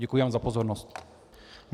Děkuji vám za pozornost.